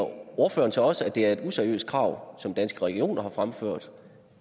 ordføreren så også at det er et useriøst krav som danske regioner har fremført